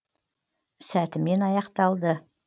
сәтімен аяқталды